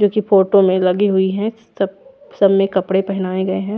जो की फोटो में लगी हुई है सब सब में कपड़े पहनाये गए है।